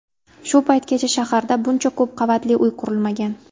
Shu paytgacha shaharda buncha ko‘p qavatli uy qurilmagan.